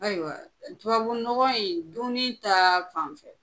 Ayiwa tubabunɔgɔ in duni ta fan fɛ?